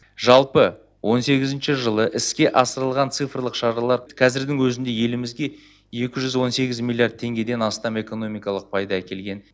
жалпы он сегізінші жылы іске асырылған цифрлық шаралар қазірдің өзінде елімізге екі жүз он сегіз миллиард теңгеден астам экономикалық пайда әкелген